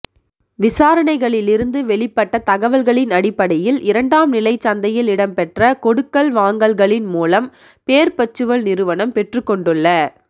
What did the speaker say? விசாரணைகளிலிலிருந்து வெளிப்பட்ட தகவல்களின் அடிப்படையில் இரண்டாம் நிலைச் சந்தையில் இடம்பெற்ற கொடுக்கல் வாங்கல்களின் மூலம் பேர்பச்சுவல் நிறுவனம் பெற்றுக் கொண்டுள்ள